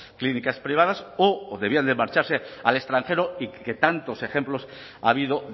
clínicas privadas o debían de marcharse al extranjero que tantos ejemplos ha habido